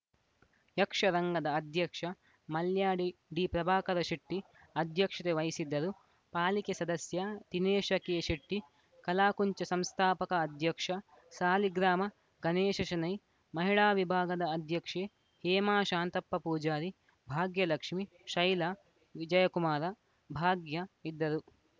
ಯಕ್ಷರಂಗದ ಅಧ್ಯಕ್ಷ ಮಲ್ಯಾಡಿ ಪ್ರಭಾಕರ ಶೆಟ್ಟಿಅಧ್ಯಕ್ಷತೆ ವಹಿಸಿದ್ದರು ಪಾಲಿಕೆ ಸದಸ್ಯ ದಿನೇಶ ಕೆಶೆಟ್ಟಿ ಕಲಾಕುಂಚ ಸಂಸ್ಥಾಪಕ ಅಧ್ಯಕ್ಷ ಸಾಲಿಗ್ರಾಮ ಗಣೇಶ ಶೆಣೈ ಮಹಿಳಾ ವಿಭಾಗದ ಅಧ್ಯಕ್ಷೆ ಹೇಮಾ ಶಾಂತಪ್ಪ ಪೂಜಾರಿ ಭಾಗ್ಯಲಕ್ಷ್ಮಿ ಶೈಲಾ ವಿಜಯಕುಮಾರ ಭಾಗ್ಯ ಇದ್ದರು